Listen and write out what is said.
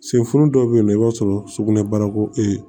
Senfulo dɔ bɛ yen nɔ i b'a sɔrɔ sugunɛbara ko ee